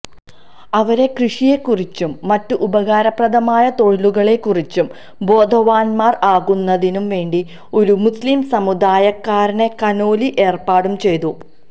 അവരെ കൃഷിയെക്കുറിച്ചും മറ്റു ഉപകാരപ്രദമായ തൊഴിലുകളെക്കുറിച്ചും ബോധവാന്മാര് ആക്കുന്നതിനും വേണ്ടി ഒരു മുസ്ലിം സമുദായക്കാരനെ കനോലി ഏര്പ്പാടും ചെയ്തു